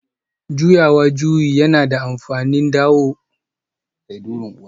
Juyawa juyi yana da amfani don dawowa kan hanya a duk lokacin da kuka rasa hanyarku